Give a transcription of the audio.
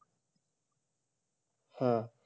হ্যাঁ,